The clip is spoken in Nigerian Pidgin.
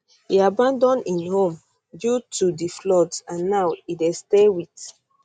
e abandon im home due to di floods and now e dey stay wit